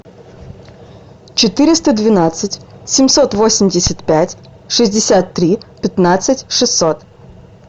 четыреста двенадцать семьсот восемьдесят пять шестьдесят три пятнадцать шестьсот